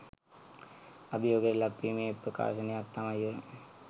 අභියෝගයට ලක් වීමේ ප්‍රකාශනයක් තමයි ඔය